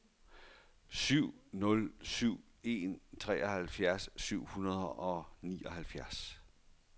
syv nul syv en seksoghalvfjerds syv hundrede og nioghalvfjerds